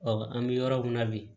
an bɛ yɔrɔ min na bi